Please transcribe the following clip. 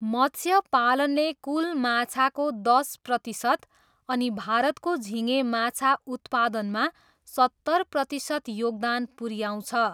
मत्स्यपालनले कुल माछाको दस प्रतिशत अनि भारतको झिँगे माछा उत्पादनमा सत्तर प्रतिशत योगदान पुऱ्याउँछ।